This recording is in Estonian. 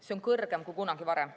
See on kõrgem kui kunagi varem.